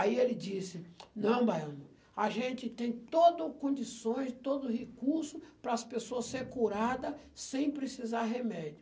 Aí ele disse, não, Baiano, a gente tem toda as condições, todo o recurso para as pessoas serem curadas sem precisar de remédio.